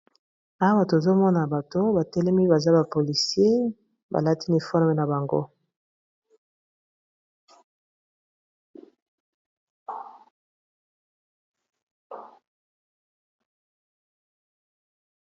Awa tozomona bato batelemi baza ba policien balatini ba uniforme na bango.